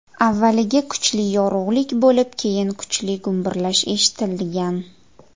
Avvaliga kuchli yorug‘lik bo‘lib, keyin kuchli gumburlash eshitilgan.